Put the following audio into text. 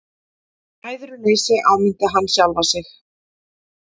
Æðruleysi, áminnti hann sjálfan sig.